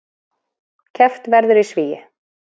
Keppt verður í svigi